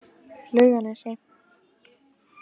Laugarnesi